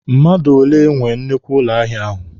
Mmadụ ole nwe nnukwu ụlọ ahịa ahụ?